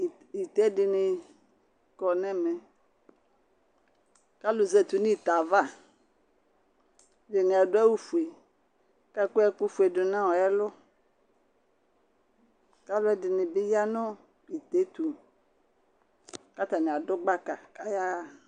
Ɩ ɩte ɖɩnɩ kɔ nɛmɛ Alu zatɩ nu ɩte ava Ɛɖɩnɩ adu awu foe, akɔ ɛku foe ɖunuɔ ɛlu Kalu ɖɩnɩ bɩ ya nu ɩte yɛtu katanɩ aɖu gbaka ka yaɣa